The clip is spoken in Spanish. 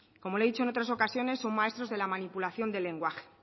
como le he dicho en otras ocasiones son maestros de la manipulación del lenguaje